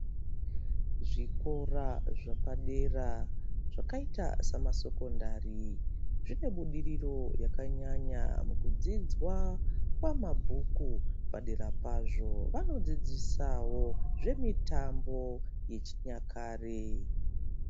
Zvikora zvepadera zvakaita sama sekondari zvinebudiriro yakanyanya mukudzidzwa kwemabhuku padera pazvo vano dzidzisawo zvemitambo yechinyakare.